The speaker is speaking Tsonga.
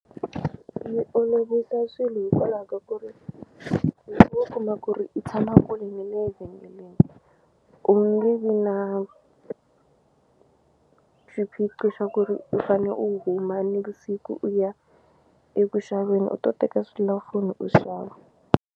Yi olovisa swilo hikwalaho ka ku ri loko wo kuma ku ri i tshama kule na le vhengeleni ku nge vi na xiphiqo xa ku ri u fane u huma ni vusiku u ya eku xaveni u to teka selulafoni u xava.